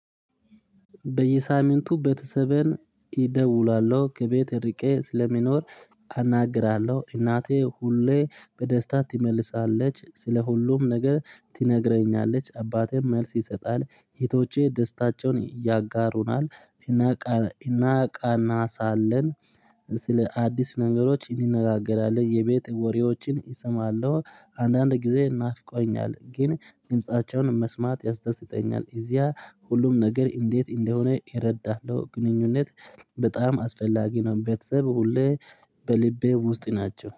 በየሳምንቱ ቤተሰቤን እደውላለሁ። ከቤት ርቄ ስለሚኖር አናግራለሁ። እናቴ ሁሌ በደስታ ትመልሳለች። ስለ ሁሉም ነገር ትነግረኛለች። አባቴም መልስ ይሰጣል። እህቶቼ ደስታቸውን ያጋሩናል። እናቃና ሳለን ስለ አዲስ ነገሮች እንነጋገራለን። የቤት ወሬዎችን እሰማለሁ። አንዳንድ ጊዜ ናፍቆኛል ግን ድምፃቸውን መስማት ያስደስተኛል። እዚያ ሁሉም ነገር እንዴት እንደሆነ ይረዳህ ነው ግንኙነት በጣም አስፈላጊ ነው በተሰበው ሁሌ በልቤ ውስጥ ናቸው።